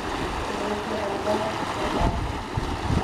Koesho kobwat komanda